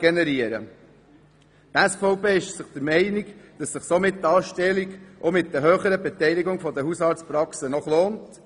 Daher ist die SVP der Meinung, dass sich eine solche Anstellung auch mit der höheren Beteiligung der Hausarztpraxen noch lohnt.